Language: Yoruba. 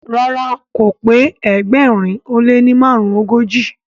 ràrá o k pé ẹgbẹrin o le marunogoji